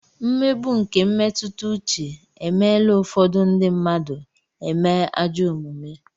Mmegbu nke mmetụta uche e meela ụfọdụ ndị mmadụ eme ajọ omume.